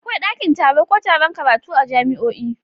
Akwai dakin taro ko taron karatu a jami'o'i.